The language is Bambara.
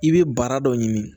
I bɛ bara dɔ ɲini